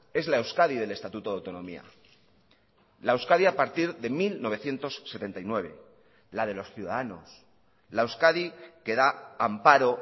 es la euskadi del estatuto de autonomía la euskadi a partir de mil novecientos setenta y nueve la de los ciudadanos la euskadi que da amparo